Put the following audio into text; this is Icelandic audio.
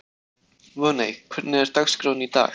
Voney, hvernig er dagskráin í dag?